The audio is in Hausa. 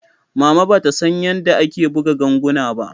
Mama bata san yanda ake buga ganguna ba.